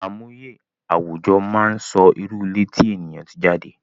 Àmúye àwùjọ máa ń sọ irú ilé tí ènìyàn tí jade